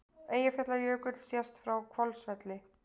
Eyjafjallajökull sést frá Hvolsvelli.